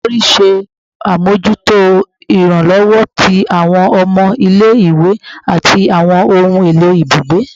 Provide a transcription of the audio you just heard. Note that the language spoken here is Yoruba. Olori ṣe amojuto iranlọwọ ti awọn ọmọ ile-iwe ati awọn ohun elo ibugbe